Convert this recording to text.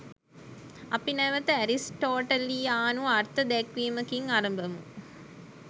අපි නැවත ඇරිස්ටෝටලියානු අර්ථ දැක්වීමකින් අරඹමු.